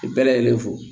Bɛɛ lajɛlen fo